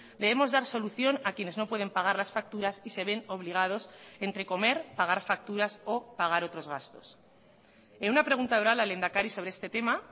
debemos dar solución a quienes no pueden pagar las facturas y se ven obligados entre comer pagar facturas o pagar otros gastos en una pregunta oral al lehendakari sobre este tema